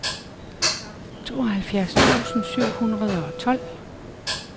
tooghalvfems tusind syv hundrede og tolv